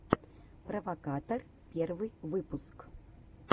провокатор первый выпуск